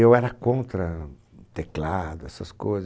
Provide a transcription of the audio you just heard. Eu era contra teclado, essas coisas.